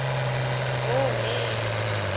hhohhe